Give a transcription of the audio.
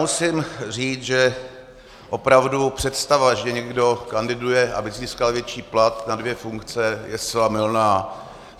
Musím říct, že opravdu představa, že někdo kandiduje, aby získal větší plat na dvě funkce, je zcela mylná.